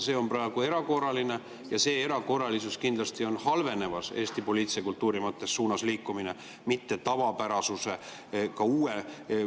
See on praegu erakordne ja see erakordsus kindlasti halveneva Eesti poliitilise kultuuri suunas liikumises, mitte tavapärasuse suunas.